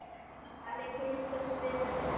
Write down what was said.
Þannig kynntumst við enn betur.